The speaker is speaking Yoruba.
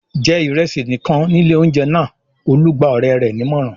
"Jẹ ìrẹsì nìkan ní ilé-oúnjẹ náà!" Olú gba ọ̀rẹ́ rẹ̀ nímọ̀ràn.